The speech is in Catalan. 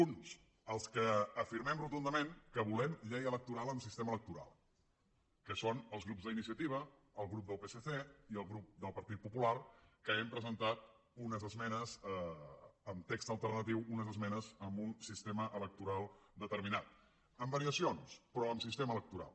uns els que afirmem rotundament que volem llei electoral amb sistema electoral que són el grup d’iniciativa el grup del psc i el grup del partit popular que hem presentat unes esmenes amb text alternatiu unes esmenes amb un sistema electoral determinat amb variacions però amb sistema electoral